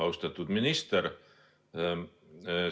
Austatud minister!